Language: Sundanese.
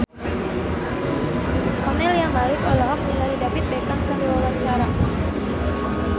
Camelia Malik olohok ningali David Beckham keur diwawancara